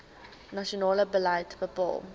nasionale beleid bepaal